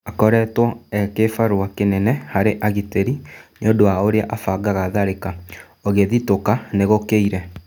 Akoretwo e-kĩbarua kĩnene harĩ agitĩri nĩũndũ wa ũrĩa abangaga tharĩka - ũgĩthitũka nĩ gũkĩire."